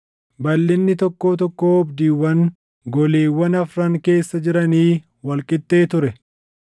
Naannoo tokkoo tokkoo goleewwan afranii keessa marsaa dhagaa kan naannoo isaa jalatti iddoon ibiddaa jiru tokkotu ijaaramee ture.